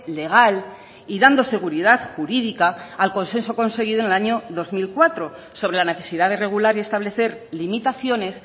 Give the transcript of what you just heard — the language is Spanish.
legal y dando seguridad jurídica al consenso conseguido en el año dos mil cuatro sobre la necesidad de regular y establecer limitaciones